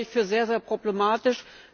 Das halte ich für sehr problematisch!